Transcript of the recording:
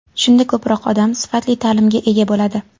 Shunda ko‘proq odam sifatli ta’limga ega bo‘ladi.